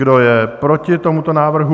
Kdo je proti tomuto návrhu?